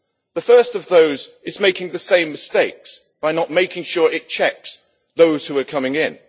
The first of those is making the same mistakes by not making sure it checks those who are coming in.